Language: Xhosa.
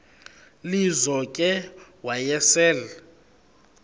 lizo ke wayesel